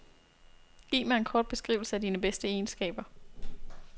Giv mig en kort beskrivelse af dine bedste egenskaber.